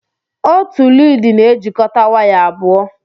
Otu lịdị na-ejikọta waya abụọ.